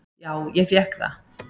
"""Já, ég fékk það."""